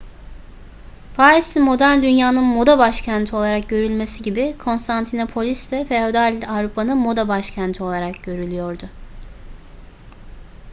paris'in modern dünyanın moda başkenti olarak görülmesi gibi konstantinopolis de feodal avrupa'nın moda başkenti olarak görülüyordu